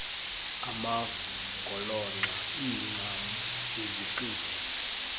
amagolonxa iincam iziqithi